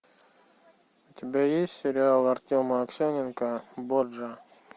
у тебя есть сериал артема аксененко борджиа